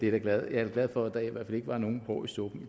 er da glad for at der i hvert fald ikke var nogen hår i suppen